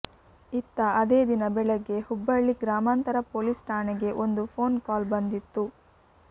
ಇತ್ತ ಅದೇ ದಿನ ಬೆಳಗ್ಗೆ ಹುಬ್ಬಳ್ಳಿ ಗ್ರಾಮಾಂತರ ಪೊಲೀಸ್ ಠಾಣೆಗೆ ಒಂದು ಫೋನ್ ಕಾಲ್ ಬಂದಿತ್ತು